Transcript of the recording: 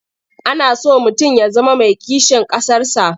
Ana so mutum ya zama mai kishin ƙasarsa.